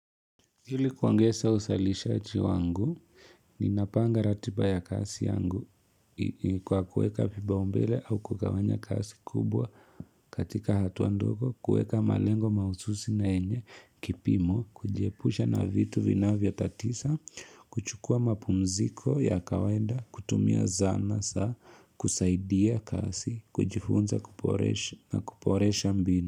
Ili kuangesa usalishaji wangu, ninapanga ratiba ya kasi yangu kwa kuweka vipaumbele au kugawanya kasi kubwa katika hatuandoko, kueka malengo maususi na yenye, kipimo, kujiepusha na vitu vina vyo tatisa, kuchukua mapumziko ya kawainda, kutumia zana saa, kusaidia kasi, kujifunza kuporesha na kuporesha mbinu.